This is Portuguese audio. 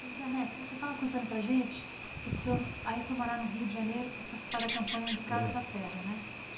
Luiz Ernesto, o senhor estava contando para a gente que o senhor aí foi morar no Rio de Janeiro para participar da campanha do Carlos Lacerda, né?